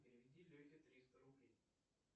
переведи лехе триста рублей